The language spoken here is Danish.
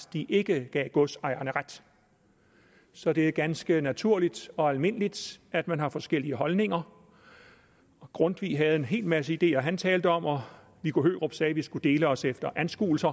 ikke gav godsejerne ret så det er ganske naturligt og almindeligt at man har forskellige holdninger grundtvig havde en hel masse ideer han talte om og viggo hørup sagde vi skulle dele os efter anskuelse